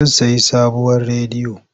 Zan sayi sabuwar rediyo.